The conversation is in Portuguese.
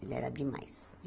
Ele era demais.